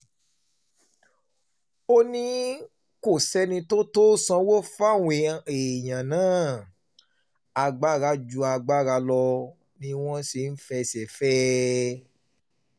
ó um ní kò sẹ́ni tó tó sanwó fáwọn èèyàn náà agbára ju um agbára lọ ni wọ́n ṣe fẹsẹ̀ fẹ́ ẹ